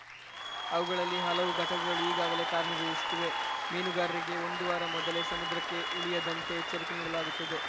ಅವುಗಳಲ್ಲಿ ಹಲವು ಘಟಕಗಳು ಈಗಾಗಲೇ ಕಾರ್ಯನಿರ್ವಹಿಸುತ್ತಿವೆ ಮೀನುಗಾರರಿಗೆ ಒಂದು ವಾರ ಮೊದಲೇ ಸಮುದ್ರಕ್ಕೆ ಇಳಿಯದಂತೆ ಎಚ್ಚರಿಕೆ ನೀಡಲಾಗುತ್ತದೆ